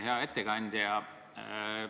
Hea ettekandja!